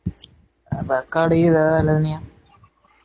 record கீது எதாவது எழுதுனியா